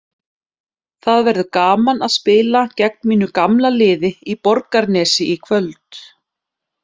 Það verður gaman að spila gegn mínu gamla liði í Borgarnesi í kvöld.